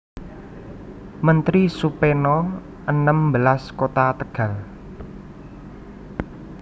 Menteri Supeno enem belas Kota Tegal